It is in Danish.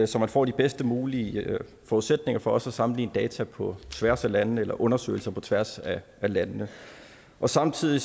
så man får de bedst mulige forudsætninger for også at sammenligne data på tværs af landene eller undersøgelser på tværs af landene samtidig